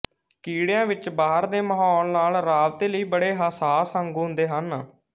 ਕੀੜਿਆਂ ਵਿੱਚ ਬਾਹਰ ਦੇ ਮਹੌਲ ਨਾਲ਼ ਰਾਬਤੇ ਲਈ ਬੜੇ ਹੱਸਾਸ ਅੰਗ ਹੁੰਦੇ ਹਨ